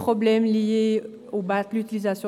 Ciments Vigier SA»